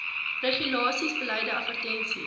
regulasies beleide advertensies